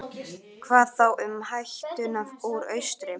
Hvað þá um hættuna úr austri?